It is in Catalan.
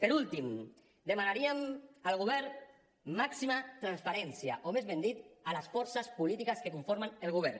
per últim demanaríem al govern màxima transparència o més ben dit a les forces polítiques que conformen el govern